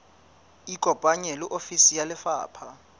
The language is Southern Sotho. ikopanye le ofisi ya lefapha